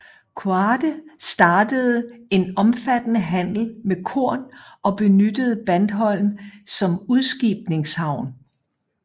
Quade startede en omfattede handel med korn og benyttede Bandholm som udskibningshavn